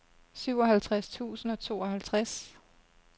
syvoghalvtreds tusind og tooghalvtreds